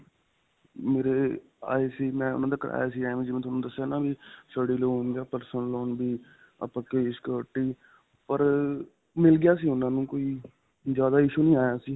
ਮੇਰੇ ਆਏ ਸੀ. ਮੈਂ ਉਨ੍ਹਾਂ ਦਾ ਕਰਵਾਇਆ ਸੀ ਐਂਵੇਂ ਜਿਵੇਂ ਤੁਹਾਨੂੰ ਦੱਸਿਆ ਹੈ ਨਾ ਵੀ study loan ਜਾਂ personal loan ਵੀ ਆਪਾਂ security ਪਰ ਮਿਲ ਗਿਆ ਸੀ. ਉਨ੍ਹਾਂ ਨੂੰ ਵੀ ਕੋਈ ਜਿਆਦਾ issue ਨਹੀਂ ਆਇਆ ਸੀ .